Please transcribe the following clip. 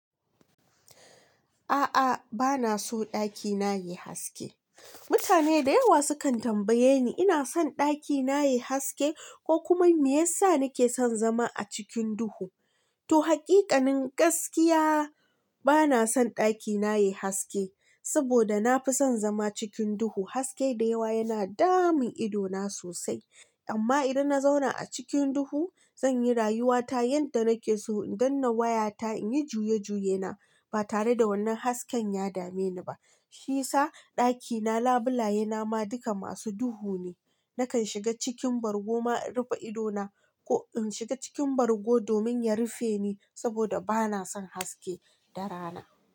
A'a, bana so ɗakina yayi haske. Mutane da yawa sukan tambaye ni, ina son ɗakina yayi haske ko kuma me yasa nike son zama a cikin duhu? To hakikanin gaskiya bana son ɗakina yayi haske, saboda nafi son zama cikin duhu. Haske da yawa yana damun idona sosai. Amma idan na zauna a cikin duhu, zanyi rayuwata yanda nake so, in danna wayata, in yi juye-juye na ba tare da wannan hasken ya dame ni ba. Shi yasa ɗakina, labulaye na ma duka masu duhu ne. Nakan shiga cikin bargo ma in rufe idona ko in shiga cikin bargo domin ya rufe ni, saboda bana son haske da rana.